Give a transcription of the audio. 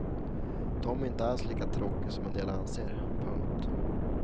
Tommy är inte alls tråkig som en del anser. punkt